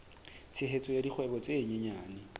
tshehetso ya dikgwebo tse nyenyane